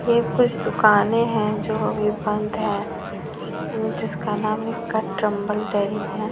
ये कुछ दुकाने है जो अभी बंद है जिसका नाम --